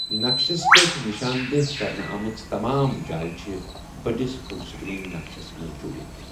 نَقشَس پٮ۪ٹھ نِشان دہ كرنہٕ آمٕژٕ تَمام جایہِ چِھ بٔڈِس فُل سِکریٖن نَقشَس منز جوٗڑِتھ ۔